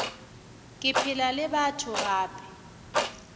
ke phela le batho gape